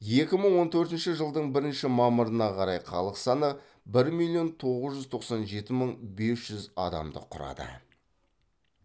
екі мың он төртінші жылдың бірінші мамырына қарай халық саны бір миллион тоғыз жүз тоқсан жеті мың бес жүз адамды кұрады